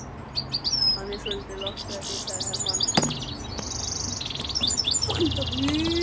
Hann er svolítið lofthræddur, sagði Hermann.